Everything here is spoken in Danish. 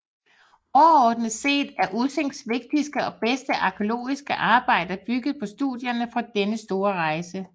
Overordnet set er Ussings vigtigste og bedste arkæologiske arbejder bygget på studierne fra denne store rejse